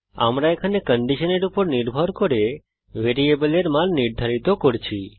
আমরা এখানে কন্ডিশনের উপর নির্ভর করে ভ্যারিয়েবলের মান নির্ধারিত করছি